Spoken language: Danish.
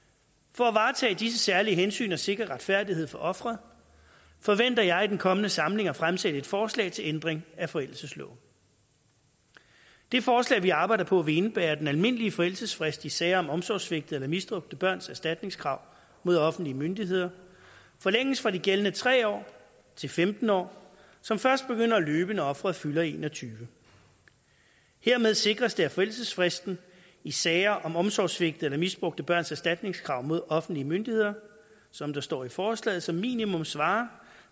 for at varetage disse særlige hensyn og sikre retfærdighed for offeret forventer jeg i den kommende samling at fremsætte et forslag til ændring af forældelsesloven det forslag vi arbejder på vil indebære at den almindelige forældelsesfrist i sager om omsorgssvigtede eller misbrugte børns erstatningskrav mod offentlige myndigheder forlænges fra de gældende tre år til femten år som først begynder at løbe når offeret fylder en og tyve år hermed sikres det at forældelsesfristen i sager om omsorgssvigtede eller misbrugte børns erstatningskrav mod offentlige myndigheder som der står i forslaget som minimum svarer